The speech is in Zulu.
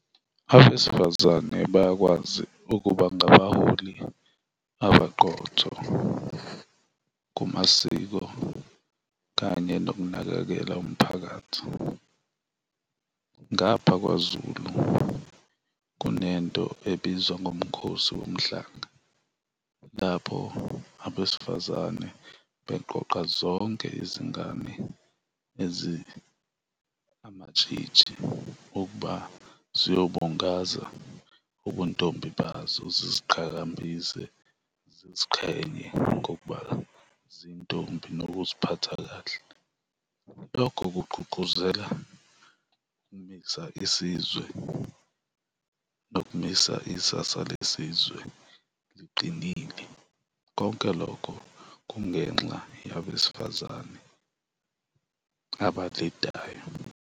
Abesifazane bayakwazi ukuba ngabaholi abaqotho kumasiko kanye nokunakekela umphakathi. Ngapha kwaZulu kunento ebizwa ngoMkhosi Womhlanga, lapho abesifazane beqoqa zonke izingane ezi amatshitshi ukuba ziyobungaza ubuntombi bazo ziziqhakambise, ziziqhenye ngokuba zintombi nokuziphatha kahle. Lokho kugqugquzela isizwe nokumisa isasa lesizwe liqinile, konke lokho kungenxa yabesifazane abalidayo.